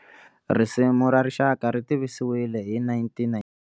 Risimu ra Rixaka ri tivisiwile hi 1997.